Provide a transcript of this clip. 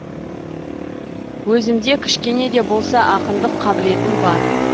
өзімде кішкене де болса ақындық қабілетім бар